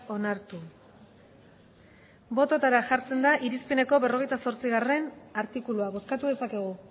onartu bototara jartzen da irizpeneko berrogeita zortzigarrena artikulua bozkatu dezakegu